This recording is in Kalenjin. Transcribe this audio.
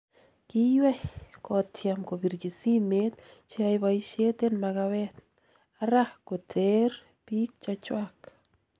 Kiywei , kotyem kobirchi simeet cheyae boisiet en makawet ara koteer biik chechwak.